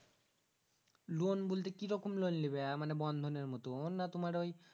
loan বলতে কিরকম loan লিবা মানে bandhon মুতুন না তুমার ওই